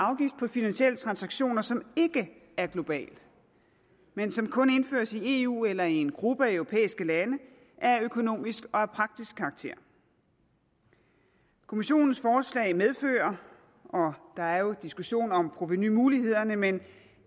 finansielle transaktioner som ikke er global men som kun indføres i eu eller i en gruppe af europæiske lande er af økonomisk og af praktisk karakter kommissionens forslag medfører og der er jo diskussioner om provenumulighederne men